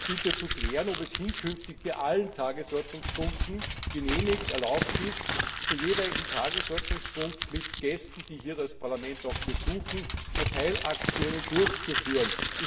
Ich bitte zu klären, ob es hinkünftig bei allen Tagesordnungspunkten genehmigt erlaubt ist, zum jeweiligen Tagesordnungspunkt mit Gästen, die das Parlament besuchen, Verteilaktionen durchzuführen?